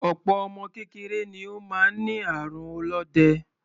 Opo ọmọ kékeré ni ó máa ń ní àrùn olóde.